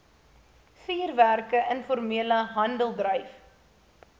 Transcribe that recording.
vuurwerke informele handeldryf